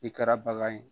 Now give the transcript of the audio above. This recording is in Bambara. I kɛra bagan ye